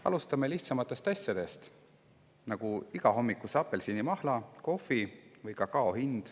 Alustame lihtsamatest asjadest, nagu igal hommikul tarvitatava apelsinimahla, kohvi või kakao hind.